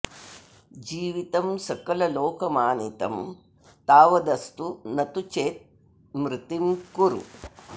जीवितं सकललोकमानितं तावदस्तु न तु चेत् मृतिं कुरु